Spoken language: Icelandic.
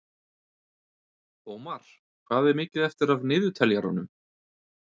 Ómar, hvað er mikið eftir af niðurteljaranum?